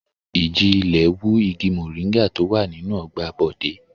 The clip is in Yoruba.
Ìjì-ilẹ̀ wú igi mòríngà tó wà nínú ọgbà Bọ̀dé.